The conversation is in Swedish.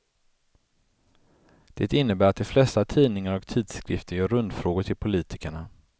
Det innebär att de flesta tidningar och tidskrifter gör rundfrågor till politikerna.